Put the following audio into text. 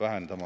vähendama.